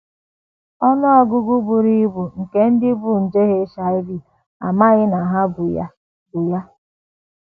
Ọnụ ọgụgụ buru ibu nke ndị bu nje HIV amaghị na ha bu ya bu ya.